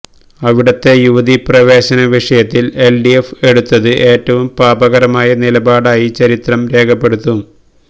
അവിടത്തെ യുവതീപ്രവേശനവിഷയത്തില് എല്ഡിഎഫ് എടുത്തത് ഏറ്റവും പാപകരമായ നിലപാടായി ചരിത്രം രേഖപ്പെടുത്തും